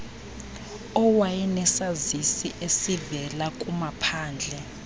owayenesazisi esivela kumaphandle